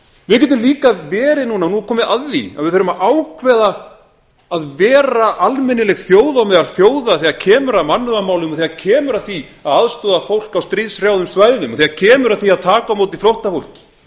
við getum líka verið núna nú er komið að því að það þarf að ákveða að vera almennileg þjóð á meðal þjóða þegar kemur að mannúðarmálum þegar kemur að því að aðstoða fólk á stríðshrjáðum svæðum og þegar kemur að því að taka á móti flóttafólki